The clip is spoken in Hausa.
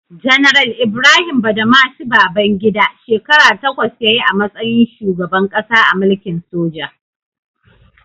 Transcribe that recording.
Janar Ibrahim Badamasi Babangida, shekara takwas ya yi a matsayin shugaban ƙasa a mulkin soja.